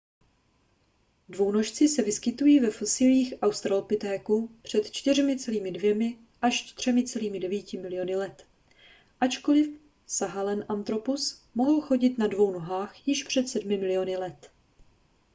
dvounožci se vyskytují ve fosíliích australopitéků před 4,2 až 3,9 miliony let ačkoli sahelanthropus mohl chodit na dvou nohách již před sedmi miliony let